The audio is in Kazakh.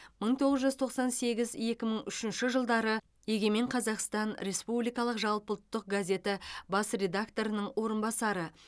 мың тоғыз жүз тоқсан сегіз екі мың үшінші жылдары егемен қазақстан республикалық жалпыұлттық газеті бас редакторының орынбасары